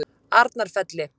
Arnarfelli